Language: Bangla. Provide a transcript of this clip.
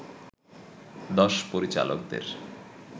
দশ পরিচালকদের